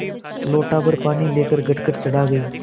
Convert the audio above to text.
लोटाभर पानी लेकर गटगट चढ़ा गई